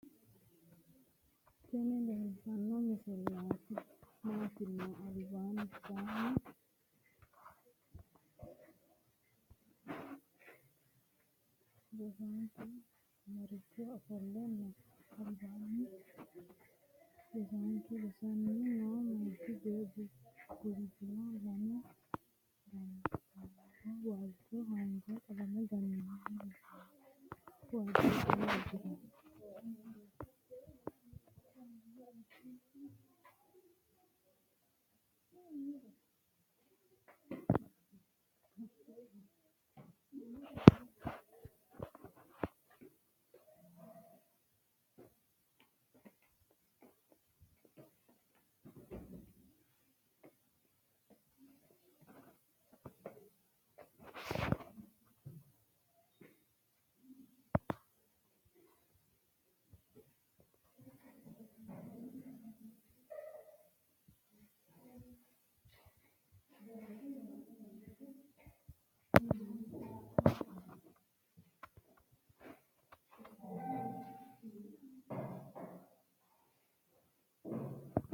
tini leeltano misile maati yinumoro. hamata rosano barcimate ofolte noo. albasanni hiige roosisanchu roosisanni noo. minneho bulala qalame ganoniho. walchoho hanja qaalame ganonniho. roosisanchu wajo uudano uudiricho